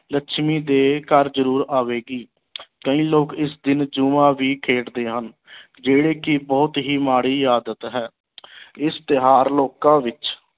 ਲੱਛਮੀ ਦੇ ਘਰ ਜ਼ਰੂਰ ਆਵੇਗੀ ਕਈ ਲੋਕ ਇਸ ਦਿਨ ਜੂਆ ਵੀ ਖੇਡਦੇ ਹਨ ਜਿਹੜੀ ਕਿ ਬਹੁਤ ਹੀ ਮਾੜੀ ਆਦਤ ਹੈ ਇਸ ਤਿਉਹਾਰ ਲੋਕਾਂ ਵਿੱਚ